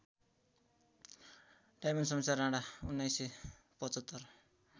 Diamond Shumsher Rana १९७५